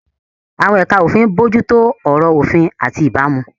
Àwọn ẹ̀ka òfin ń bójú tó ọ̀rọ̀ òfin àti ìbámu.